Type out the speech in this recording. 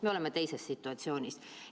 Me oleme teises situatsioonis.